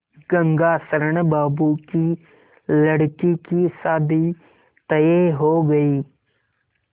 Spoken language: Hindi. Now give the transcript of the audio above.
गंगाशरण बाबू की लड़की की शादी तय हो गई